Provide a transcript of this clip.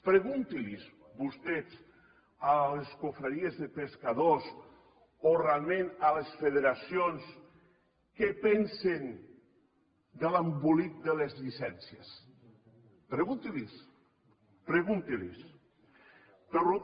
preguntin vostès a les confraries de pescadors o a les federacions què pensen de l’embolic de les llicències preguntin los ho